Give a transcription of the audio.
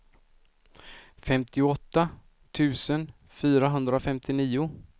femtioåtta tusen fyrahundrafemtionio